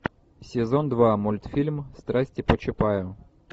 сезон два мультфильм страсти по чапаю